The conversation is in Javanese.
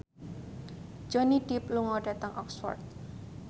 Johnny Depp lunga dhateng Oxford